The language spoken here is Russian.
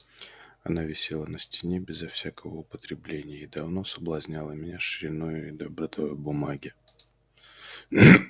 она висела на стене безо всякого употребления и давно соблазняла меня шириною и добротою бумаги